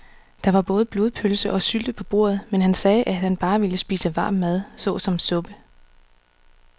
Der var både blodpølse og sylte på bordet, men han sagde, at han bare ville spise varm mad såsom suppe.